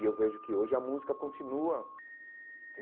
E eu vejo que hoje a música continua.